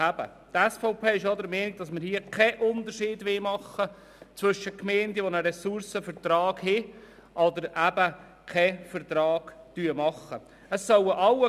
Die SVP-Fraktion ist auch der Meinung, dass wir hier zwischen Gemeinden mit und solchen ohne Ressourcenvertrag keinen Unterschied machen wollen.